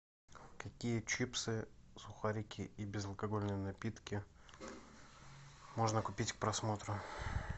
какие чипсы сухарики и безалкогольные напитки можно купить к просмотру